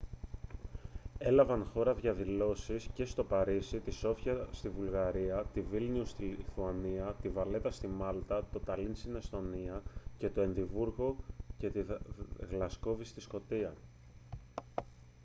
έλαβαν χώρα διαδηλώσεις και στο παρίσι τη σόφια στη βουλγαρία τη βίλνιους στη λιθουανία τη βαλέτα στη μάλτα το ταλίν στην εσθονία και το εδιμβούργο και τη γλασκόβη στη σκωτία